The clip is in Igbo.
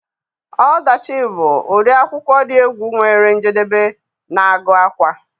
Ọdachi bụ ụdị akwụkwọ dị egwu nwere njedebe na-agu àkwá